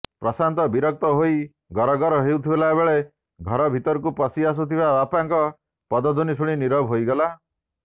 ପ୍ରଶାନ୍ତ ବିରକ୍ତ ହୋଇ ଗର ଗର ହେଉଥିବାବେଳେ ଘର ଭିତରକୁ ପଶିଆସୁଥିବା ବାପାଙ୍କ ପଦଧ୍ବନୀ ଶୁଣି ନିରବ ହେଇଗଲା